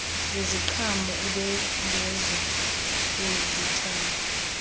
zeziqhamo ubhengezo lwezityalo